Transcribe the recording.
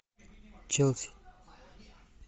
челси